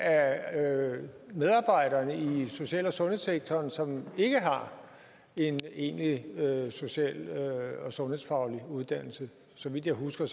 af medarbejderne i social og sundhedssektoren som ikke har en egentlig social og sundhedsfaglig uddannelse så vidt jeg husker